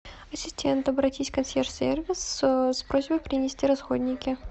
ассистент обратись в консьерж сервис с просьбой принести расходники